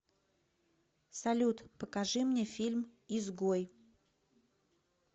салют покажи мне фильм изгой